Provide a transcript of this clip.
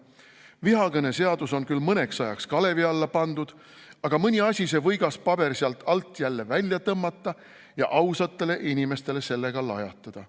Vihakõneseadus on küll mõneks ajaks kalevi alla pandud, aga mõni asi see võigas paber sealt alt jälle välja tõmmata ja ausatele inimestele sellega lajatada.